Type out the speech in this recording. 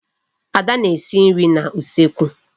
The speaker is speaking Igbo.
Ada na-esi nri n'usekwu.